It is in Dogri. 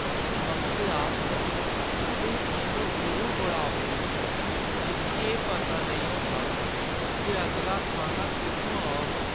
मंगते आस्तै एह् जीवन जरूर बड़ा औखा ऐ जिस्सी एह् पता नेईं होंदा जे अगला खाना कु'त्थुआं औग।